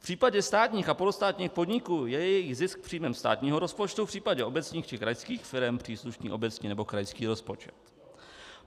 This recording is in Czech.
V případě státních a polostátních podniků je jejich zisk příjmem státního rozpočtu, v případě obecních či krajských firem příslušný obecní nebo krajský rozpočet.